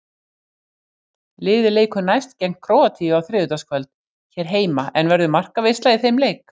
Liðið leikur næst gegn Króatíu á þriðjudagskvöld hér heima, en verður markaveisla í þeim leik?